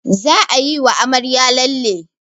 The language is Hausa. Za ayi wa amarya lalle